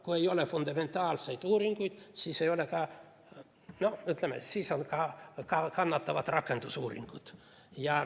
Kui ei ole fundamentaalseid uuringuid, siis kannatavad ka rakendusuuringud.